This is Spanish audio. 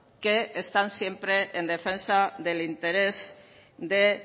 que están siempre en defensa del interés de